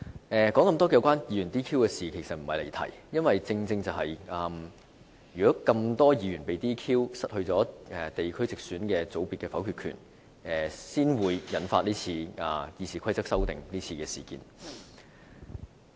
我提出這麼多有關議員被 "DQ" 的事情，並不是我想離題，正因有這麼多議員被 "DQ"、失去地區直選界別的否決權，才會引發今次《議事規則》修訂的事件。